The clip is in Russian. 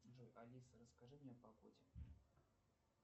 джой алиса расскажи мне о погоде